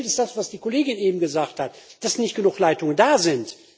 Was fehlt, ist das, was die Kollegin eben gesagt hat dass nicht genug Leitungen da sind.